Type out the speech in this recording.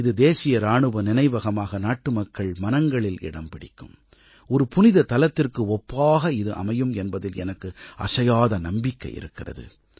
இது தேசிய இராணுவ நினைவகமாக நாட்டு மக்கள் மனங்களில் இடம் பிடிக்கும் ஒரு புனித தலத்திற்கு ஒப்பாக இது அமையும் என்பதில் எனக்கு அசையாத நம்பிக்கை இருக்கிறது